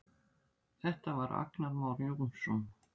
Þetta var Agnar Már Jónsson.